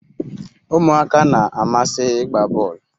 Umuaka na-amasi igba bol